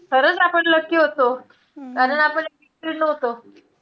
खरंच आपण lucky होतो. कारण आपण addicted नव्हतो.